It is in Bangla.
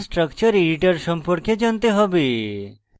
gchempaint chemical structure editor সম্পর্কে জানতে হবে